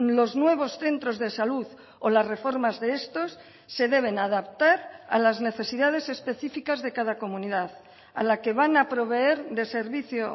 los nuevos centros de salud o las reformas de estos se deben adaptar a las necesidades específicas de cada comunidad a la que van a proveer de servicio